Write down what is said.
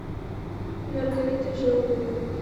маргарита желнина